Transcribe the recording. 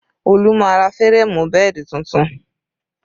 Olu máa ra férémù bẹ́ẹ̀dì tuntun